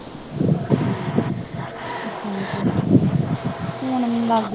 ਹੁਣ ਮੈਂ ਲੱਗ ਜੂ